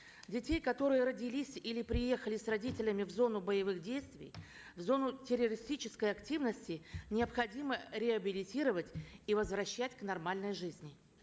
детей которые родились или приехали с родителями в зону боевых действий в зону террористической активности необходимо реабилитировать и возвращать к нормальной жизни